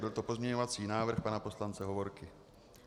Byl to pozměňovací návrh pana poslance Hovorky.